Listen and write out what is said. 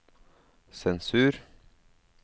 sensur